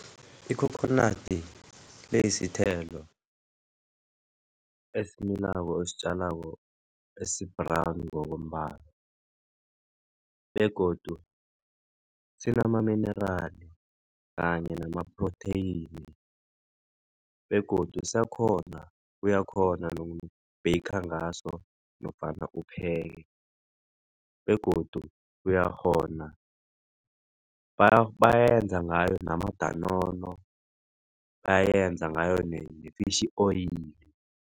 Ikhokhonadi iyisithelo esimilako ositjalako esi-brown ngokombala begodu sinamaminerali kanye namaphrotheyini begodu uyakghona noku-baker ngaso nofana upheke begodu uyakghona bayayenza ngayo namadanono bayayenza ngayo ne-fish oil.